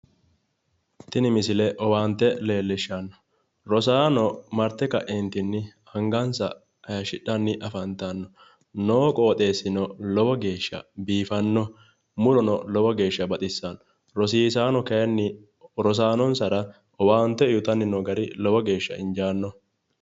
Tini misile owaante leellishshanno. Rosaano marte kaeentinni angansa haayishidhanni afantanno. Noo qooxeessino lowo geeshsha biifanno murono lowo geeshsha baxissanno. Rosiisaano kayiinni rosaanonsara owaante uuyitanni noo gari lowo geeshsha injaanno.